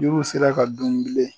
Jiriw sera ka dun bilen